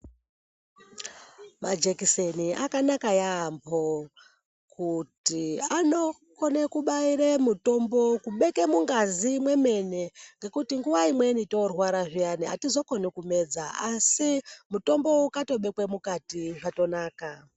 Majekiseni akanaka yaamho kuti anokone kubaire mutombo kubeke mungazi mwemene ngekuti nguwa imweni torwara zviyani atizokoni kumedza asi mutombo ukatobekwe mukati zvatonaka.